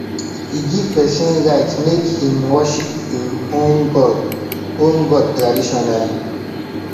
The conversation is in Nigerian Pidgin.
e give pesin right make im worship im own god own god traditionally